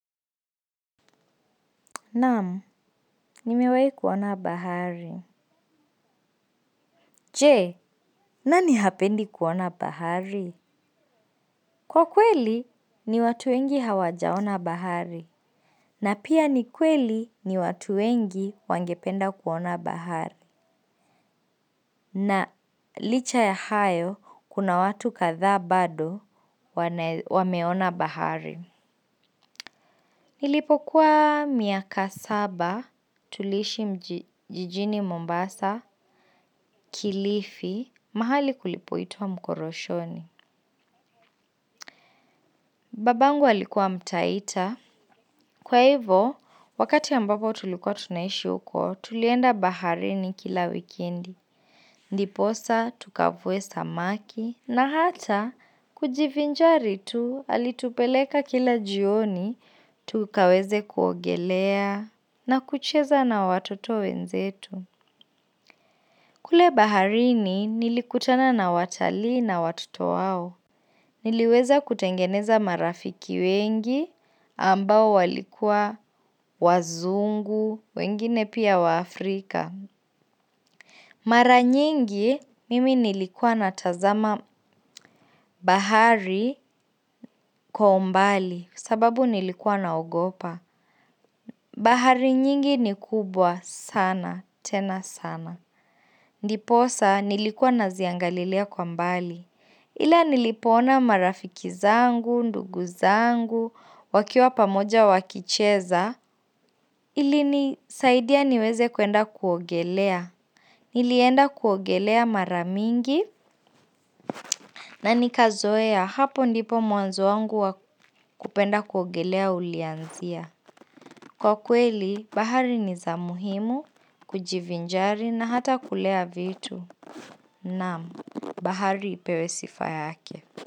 Naam, nimewai kuona bahari. Je, nani hapendi kuona bahari? Kwa kweli, ni watu wengi hawajaona bahari. Na pia ni kweli, ni watu wengi wangependa kuona bahari. Na licha ya hayo, kuna watu kadhaa bado wameona bahari. Nilipokuwa miaka saba tuliishi jijini Mombasa kilifi. Mahali kulipoitwa mkoroshoni. Babangu alikuwa mtaita. Kwa hivo, wakati ambapo tulikuwa tunaishi huko, tulienda baharini kila wikendi. Ndiposa, tukavuwe samaki. Na hata, kujivinjari tu, alitupeleka kila jioni, tukaweze kuogelea, na kucheza na watoto wenzetu. Kule baharini, nilikutana na watalii na watoto wao. Niliweza kutengeneza marafiki wengi ambao walikua wazungu, wengine pia waafrika. Mara nyingi mimi nilikua natazama bahari kwa umbali sababu nilikua naogopa. Bahari nyingi ni kubwa sana tena sana. Ndiposa nilikuwa naziangalilia kwa mbali. Ila nilipoona marafiki zangu, ndugu zangu, wakiwa pamoja wakicheza, ilinisaidia niweze kuenda kuogelea. Nilienda kuogelea mara mingi na nikazoea. Hapo ndipo mwanzo wangu wa kupenda kuogelea ulianzia. Kwa kweli, bahari ni za muhimu, kujivinjari na hata kulea vitu. Naam, bahari ipewe sifa yake.